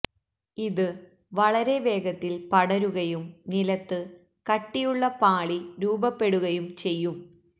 ഇത് വളരെ വേഗത്തില് പടരുകയും നിലത്ത് കട്ടിയുള്ള പാളി രൂപപ്പെടുകയും ചെയ്യും